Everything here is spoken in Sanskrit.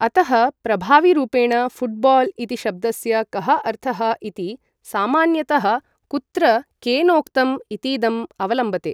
अतः, प्रभाविरूपेण, फुट्बाल् इति शब्दस्य कः अर्थः इति, सामान्यतः कुत्र केनोक्तम् इतीदम् अवलम्बते।